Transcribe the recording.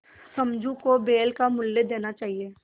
समझू को बैल का मूल्य देना चाहिए